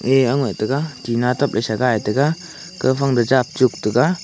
ye au ngai tega tina tap le sa gai tega kau phang duh jap tuk tega.